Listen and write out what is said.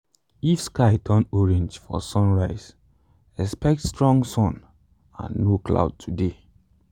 if sky turn orange for sunrise expect strong sun and no cloud today.